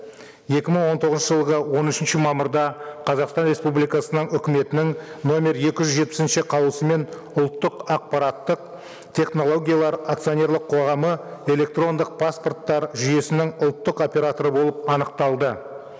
екі мың он тоғызыншы жылғы он үшінші мамырда қазақстан республикасының үкіметінің нөмір екі жүз жетпісінші қаулысымен ұлттық ақпараттық технологиялар акционерлік қоғамы электрондық паспорттар жүйесінің ұлттық операторы болып анықталды